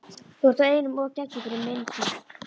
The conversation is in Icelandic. þú ert einum of geggjuð fyrir minn smekk.